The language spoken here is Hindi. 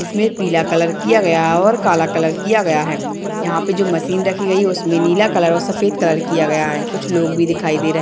इसमें पीला कलर किया गया है और काला कलर भी किया गया है यहाँ पे जो मशीन रखी गयी है उसमे नीला कलर और सफ़ेद कलर किया गया हैं कुछ लोग भी दिखाई दे रहे --